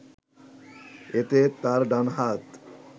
এতে তার ডান হাত